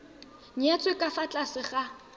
nyetswe ka fa tlase ga